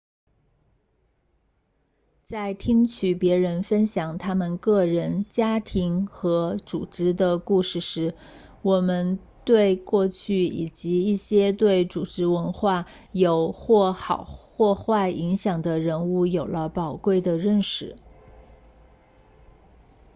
在听取别人分享他们个人家庭和组织的故事时我们对过去以及一些对组织文化有或好或坏影响的人物有了宝贵的认识